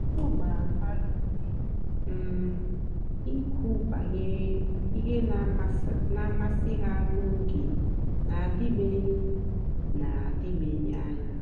ọ gbàra mmadụ́ ùmè um ìkwù bànyèrè ihe na-àmasị́ ha n'ógè na-àdị̀bèghị́ na-àdị̀bèghị́ anya.